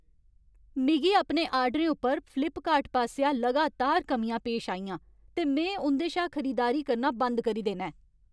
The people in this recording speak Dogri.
मिगी अपने आर्डरें उप्पर फ्लिपकार्ट पासेआ लगातार कमियां पेश आइयां ते में उं'दे शा खरीदारी करना बंद करी देना ऐ।